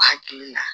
Hakili la